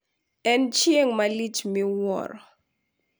En chieng` malich miwuro.